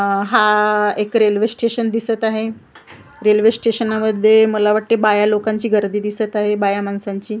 अ हा एक railway station दिसत आहे रेल्वे स्टेशना मध्ये मला वाटतंय बाया लोकांची गर्दी दिसत आहे बाया माणसांची अ--